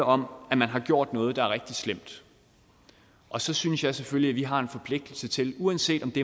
om at man har gjort noget der er rigtig slemt og så synes jeg selvfølgelig at vi har en forpligtelse uanset om det